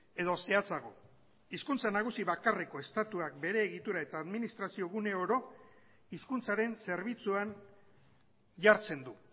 edo zehatzago hizkuntza nagusi bakarreko estatuak bere egitura eta administrazio gune oro hizkuntzaren zerbitzuan jartzen du